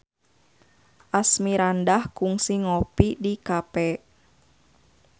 Asmirandah kungsi ngopi di cafe